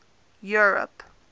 europe